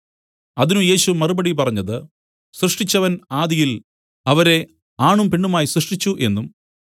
അതിന് യേശു മറുപടി പറഞ്ഞത് സൃഷ്ടിച്ചവൻ ആദിയിൽ അവരെ ആണും പെണ്ണുമായി സൃഷ്ടിച്ചു എന്നും